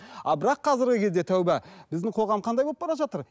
а бірақ қазіргі кезде тәубә біздің қоғам қандай болып бара жатыр